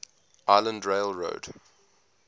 island rail road